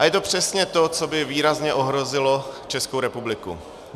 A je to přesně to, co by výrazně ohrozilo Českou republiky.